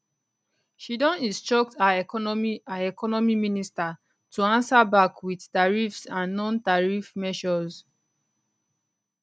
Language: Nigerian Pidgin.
she don instruct her economy her economy minister to ansa back wit tariffs and nontariff measures